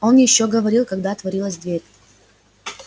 он ещё говорил когда отворилась дверь